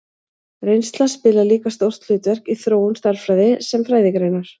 Reynsla spilar líka stórt hlutverk í þróun stærðfræði sem fræðigreinar.